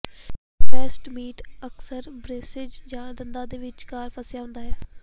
ਸਟਰੈਸਟ meat ਅਕਸਰ braces ਜਾਂ ਦੰਦਾਂ ਦੇ ਵਿਚਕਾਰ ਫਸਿਆ ਹੁੰਦਾ ਹੈ